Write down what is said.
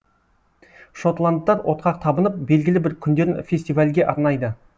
шотландтар отқа табынып белгілі бір күндерін фестивальге арнайды